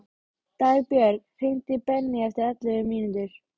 Dagbjörg, hringdu í Benný eftir ellefu mínútur.